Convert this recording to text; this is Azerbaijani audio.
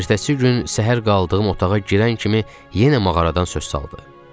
Ertəsi gün səhər qaldığım otağa girən kimi yenə mağaradan söz saldı.